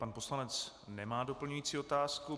Pan poslanec nemá doplňující otázku.